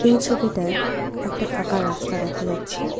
এই ছবিটায় একটা ফাঁকা রাস্তা দেখা যাচ্ছে।